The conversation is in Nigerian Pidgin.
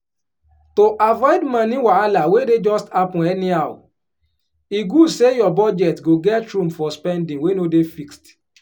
to avoid moni wahala wey dey just happen anyhow e good say your budget go get room for spending wey no dey fixed.